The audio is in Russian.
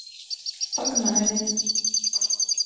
погнали